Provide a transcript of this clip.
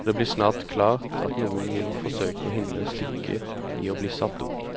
og det blir snart klart at noen vil forsøke å hindre stykket i bli satt opp.